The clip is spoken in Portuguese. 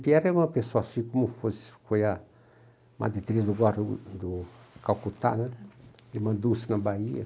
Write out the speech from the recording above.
Piera é uma pessoa assim como fosse foi a Madre Teresa de Calcutá né, ele mandou-se na Bahia.